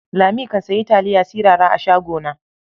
Lami kan sayi taliya sirara a shagona